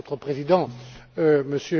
Votre Président, M.